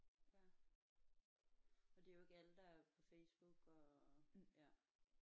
Ja for det er jo ikke alle der er på Facebook og ja